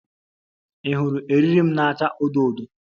Ị hụrụ eriri m na-acha odo odo?